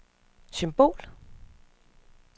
symbol